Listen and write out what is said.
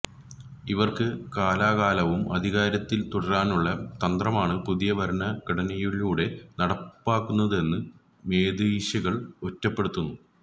ഇവര്ക്ക് കാലാകാലവും അധികാരത്തില് തുടരാനുള്ള തന്ത്രമാണ് പുതിയ ഭരണഘടനയിലൂടെ നടപ്പാകുന്നതെന്ന് മേധേശികള് കുറ്റപ്പെടുത്തുന്നു